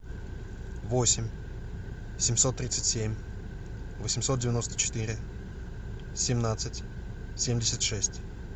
восемь семьсот тридцать семь восемьсот девяносто четыре семнадцать семьдесят шесть